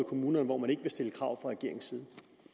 kommunerne hvor man ikke vil stille krav regeringens side